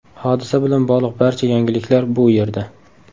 Hodisa bilan bog‘liq barcha yangiliklar bu yerda .